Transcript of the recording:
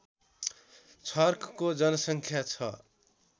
छर्कको जनसङ्ख्या छ